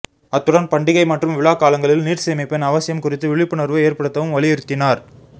அத்துடன் பண்டிகை மற்றும் விழா காலங்களில் நீர் சேமிப்பின் அவசியம் குறித்து விழிப்புணர்வு ஏற்படுத்தவும் வலியுறுத்தினார்